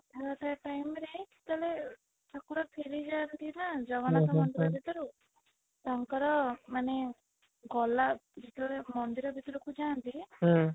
Rath Yatra time ରେ ଯେତେ ବେଳେ ଠାକୁର ଫେରି ଯାନ୍ତି ନା ଜଗନ୍ନାଥ ମନ୍ଦିର ଭିତରକୁ ତାଙ୍କର ମାନେ ଗଲା ଭିତରେ ମନ୍ଦିର ଭିତକୁ ଯାଆନ୍ତି ହୁଁ